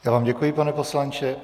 Já vám děkuji, pane poslanče.